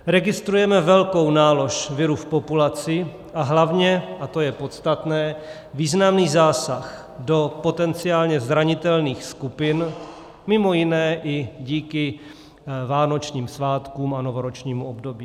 Registrujeme velkou nálož viru v populaci a hlavně, a to je podstatné, významný zásah do potenciálně zranitelných skupin, mimo jiné i díky vánočním svátkům a novoročnímu období.